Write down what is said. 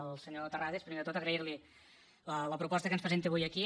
al senyor terrades primer de tot agrairli la proposta que ens presenta avui aquí